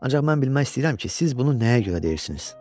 Ancaq mən bilmək istəyirəm ki, siz bunu nəyə görə deyirsiniz?